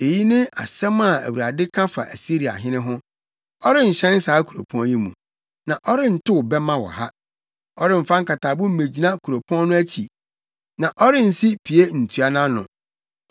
“Eyi ne asɛm a Awurade ka fa Asiriahene ho: “Ɔrenhyɛn saa kuropɔn yi mu na ɔrentow bɛmma wɔ ha. Ɔremfa nkatabo mmegyina kuropɔn no akyi na ɔrensi pie ntua nʼano.